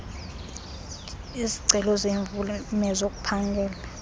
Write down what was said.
izicelo zeemvume zokuphangela